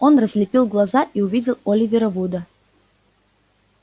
он разлепил глаза и увидел оливера вуда